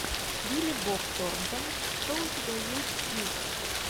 билли боб торнтон что у тебя есть из